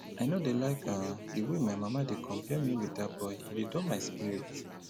i no dey like um the way my mama dey compare me with dat boy e dey dull my spirit